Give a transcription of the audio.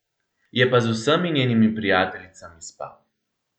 Je pa z vsemi njenimi prijateljicami spal.